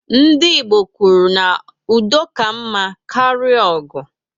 Ndị Igbo kwuru na "udo ka mma karịa ọgụ"